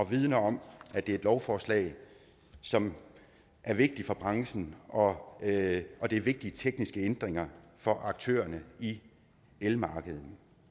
vidner om at det er et lovforslag som er vigtigt for branchen og om at det er vigtige tekniske ændringer for aktørerne i elmarkedet